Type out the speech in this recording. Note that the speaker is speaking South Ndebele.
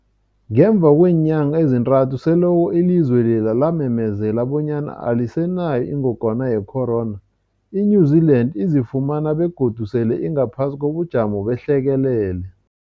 Ngemva kweenyanga ezintathu selokhu ilizwe lela lamemezela bonyana alisenayo ingogwana ye-corona, i-New-Zealand izifumana godu sele ingaphasi kobujamo behlekelele.